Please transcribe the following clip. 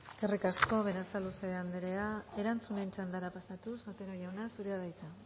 eskerrik asko berasaluze anderea erantzunen txandara pasatuz otero jauna zurea da hitza